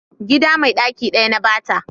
gida mai daki daya na ba ta